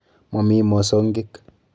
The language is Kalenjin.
Momii mosongik.